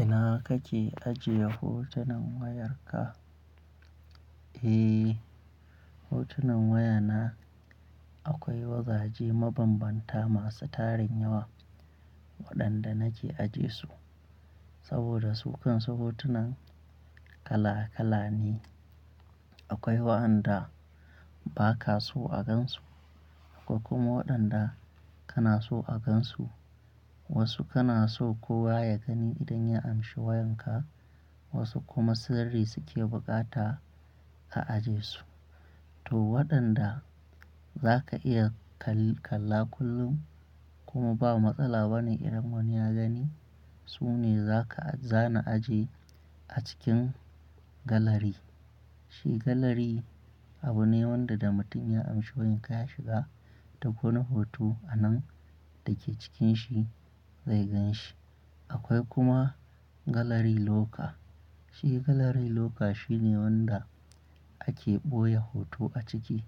Ina kake ajiye hotunan wayarka? Eh, hotunan wayana akwai wajaje mabanbanta masu tarin yawa waɗanda nake ajiye su saboda sukan su hotunan kala-kala ne. Akwai waɗanda ba ka so a gan su akwai kuma waɗanda kana so a gan su. Wasu kana so kowa ya gani idan ya amshi wayarka wasu kuma sirri suke bukata a aje su. To waɗanda za ka iya kalla kullum kuma ba matsala bane idan wani ya gani, su ne za ka, za na aje a cikin galari. Shi galari abu ne wanda da mutum ya amshi wayarka ya shiga duk wani hoto a nan dake cikin shi zai gan shi. Akwai kuma galari loka. Shi galari locker shine wanda ake ɓoye hoto a ciki,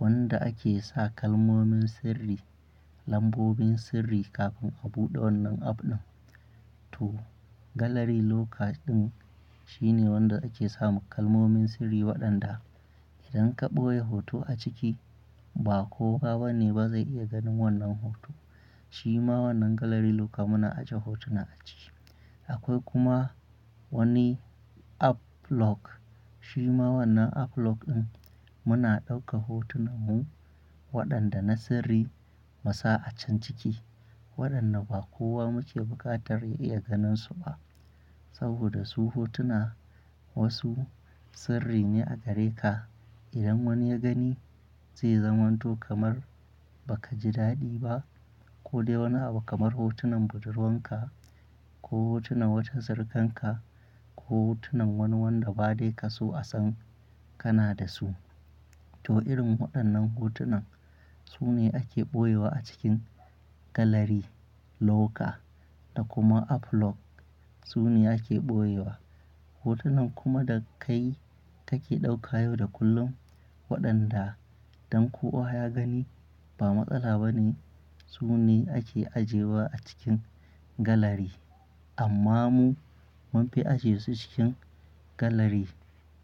wanda ake sa kalmomin sirri, lambobin sirri kafin a buɗe wannan abu nan. To galari locker ɗin shine wanda ake sa kalmomin sirri waɗanda idan ka ɓoye hoto a ciki ba kowa bane ba zai iya ganin wannan hoto. Shi ma wannan galari locker muna ajeye hotuna a ciki. Akwai kuma wani App lock. Shi ma wannan uplock ɗin muna ɗauka hotunanmu waɗanda na sirri musa a can ciki, waɗanda ba kowa muke buƙatar ya iya ganin su ba saboda su hotuna wasu sirri ne a gare ka. Idan wani ya gani zai zamanto kamar ba ka ji daɗi ba. Ko dai wani abu kamar hotunan budurwarka ko hotunan wata surukanka ko hotunan wani wanda ba dai ka so a san kana da su. To irin waɗannan hotunan su ne ake ɓoyewa a cikin galari loka da kuma uplock su ne ake ɓoyewa. Hotunan kuma da kai kake ɗauka yau da kullum waɗanda dan kowa ya gani ba matsala bane su ne ake ajewa a cikin galari. Amma mu mun fi ajye su cikin galari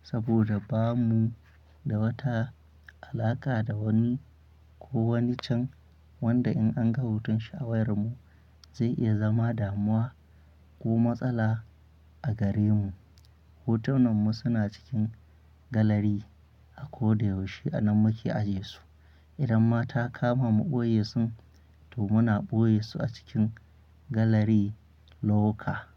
saboda bamu da wata alaƙa da wani ko wani can wanda in an ga hoton shi a wayarmu zai iya zama damuwa ko matsala a gare mu. Hotunanmu suna cikin galari a ko da yaushe a nan muke aje su. Idan ma ta kama mu ɓoye su, to muna ɓoye su a cikin galari locker.